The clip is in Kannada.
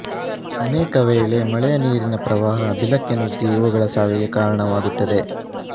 ಅನೇಕ ವೇಳೆ ಮಳೆಯನೀರಿನ ಪ್ರವಾಹ ಬಿಲಕ್ಕೆ ನುಗ್ಗಿ ಇವುಗಳ ಸಾವಿಗೆ ಕಾರಣವಾಗುತ್ತದೆ